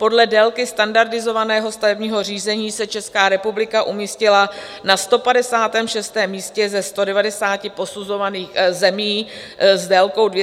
Podle délky standardizovaného stavebního řízení se Česká republika umístila na 156. místě ze 190 posuzovaných zemí s délkou 246 dnů.